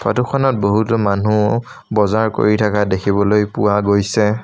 ফটোখনত বহুতো মানুহ বজাৰ কৰি থাকা দেখিবলৈ পোৱা গৈছে।